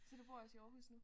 Så du bor også i Aarhus nu?